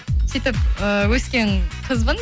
сөйтіп э өскен қызбын